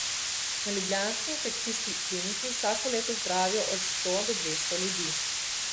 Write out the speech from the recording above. Na ljubljanski infekcijski kliniki vsako leto zdravijo od sto do dvesto ljudi.